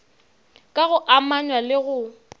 ka go amanywa le go